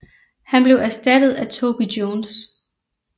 Han blev erstattet af Toby Jones